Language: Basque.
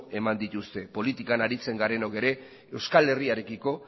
eman dituzte politikan aritzen garenok ere euskal herriarekiko